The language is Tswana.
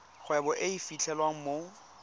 kgwebo e e fitlhelwang mo